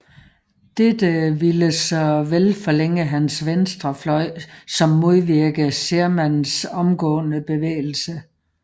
Dette ville såvel forlænge hans venstre fløj som modvirke Shermans omgående bevægelse